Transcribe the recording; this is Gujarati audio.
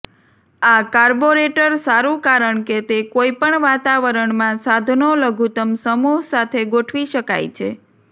આ કાર્બોરેટર સારું કારણ કે તે કોઈપણ વાતાવરણમાં સાધનો લઘુત્તમ સમૂહ સાથે ગોઠવી શકાય છે